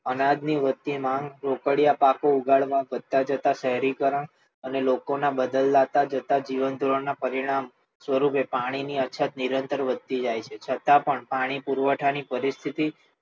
અનાજની વચ્ચે માર્ગ રોકડિયા પાકની ઉગાડવા પડતા જતા શહેરીકરણ અને લોકોના બદલાતા જતા જીવન ધોરણના પરિણામો સ્વરૂપે પાણીની અછત નિરંતર વધતી જાય છે છતાં પણ પાણી પુરવઠા ની પરિસ્થિતિ